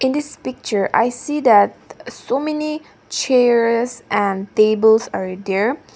in this picture i see that so many chairs and tables are there.